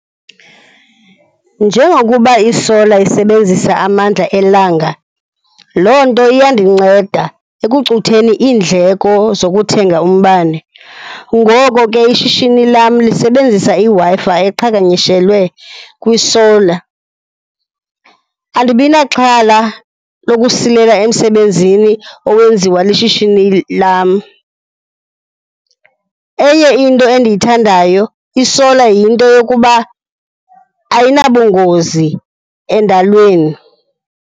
Njengokuba i-solar sisebenzisa amandla elanga, loo nto iyandinceda ekucutheni iindleko zokuthenga umbane. Ngoko ke ishishini lam lisebenzisa iWi-Fi eqhaganyishelwe kwi-solar, andibinaxhala lokusilela emsebenzini owenziwa lishishini lam. Enye into endiyithandayo i-solar yinto yokuba ayinabungozi endalweni.